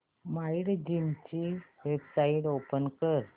Mindgym ची website open कर